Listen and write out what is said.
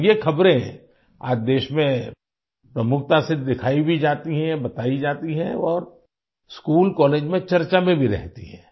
और ये ख़बरें आज देश में प्रमुखता से दिखाई भी जाती हैं बताई जाती हैं और स्कूल कॉलेज में चर्चा में भी रहती हैं